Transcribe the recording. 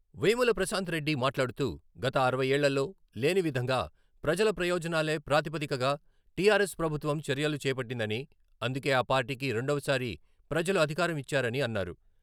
వేముల ప్రశాంత్ రెడ్డి మాట్లాడుతూ గత అరవై ఏళ్లల్లో లేని విధంగా ప్రజల ప్రయోజనాలే ప్రాతిపదికగా టిఆర్ఎస్ ప్రభుత్వం చర్యలు చేపట్టిందని, అందుకే ఆ పార్టీకి రెండవసారి ప్రజలు అధికారం ఇచ్చారని అన్నారు.